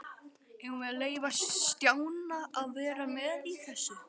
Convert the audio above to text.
Eigum við að leyfa Stjána að vera með í þessu?